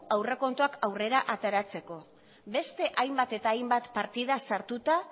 aurrekontuak aurrera ateratzeko beste hainbat eta hainbat partida sartuta